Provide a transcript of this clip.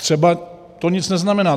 Třeba to nic neznamená.